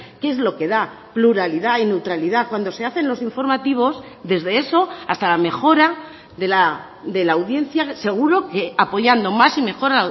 que es lo que da pluralidad y neutralidad cuando se hacen los informativos desde eso hasta la mejora de la audiencia seguro que apoyando más y mejor